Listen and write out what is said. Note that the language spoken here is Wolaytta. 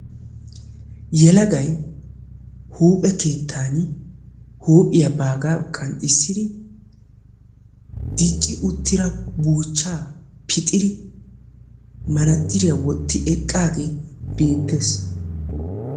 Yelagay huuphe keettani huuphiya baaga qanxxissiri dicci uttida buuchcha pixxiri manaxxiriya woti eqaage beettees.